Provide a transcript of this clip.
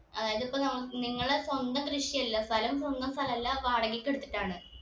അഹ് ഇതിപ്പോ നം നിങ്ങളെ സ്വന്തം കൃഷിയല്ല സ്ഥലം സ്വന്തം സ്ഥലല്ല വാടകക്ക് എടുത്തിട്ടാണ്